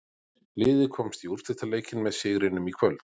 Liðið komst í úrslitaleikinn með sigrinum í kvöld.